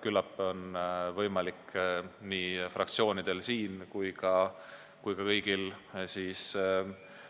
Küllap on võimalik nii fraktsioonidel kui ka kõigil